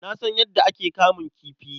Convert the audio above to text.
Na san yadda ake kamun kifi.